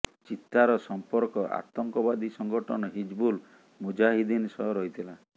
ଚୀତାର ସମ୍ପର୍କ ଆତଙ୍କବାଦୀ ସଂଗଠନ ହିଜବୁଲ ମୁଜାହିଦ୍ଦିନ ସହ ରହିଥିଲା